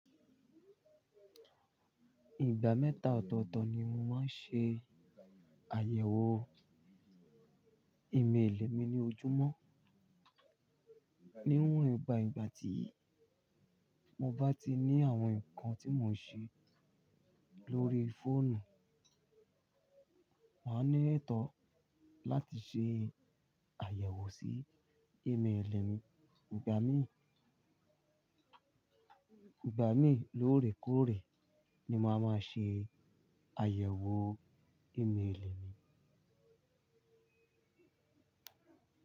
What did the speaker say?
Ìgbà mẹ́ta ọ̀tọ̀ọ̀tọ̀ ni mò maa ń ṣe àyẹ̀wò ìméèlè mi ní ojúmọ́. Níwọ̀n ba ìgbà tí mo bá ti ní àwọn nǹkan tí mò ń ṣe lórí fóònù, màá ní ètó láti ṣe àyẹ̀wò sí ìméèlè mi. Ìgbà míì, ìgbà míì lórèkórè ni màá máa ṣe àyẹ̀wò ìméèlè mi.